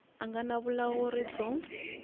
a nga na vulawuri byo